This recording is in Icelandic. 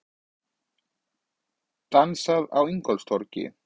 Dansað á Ingólfstorgi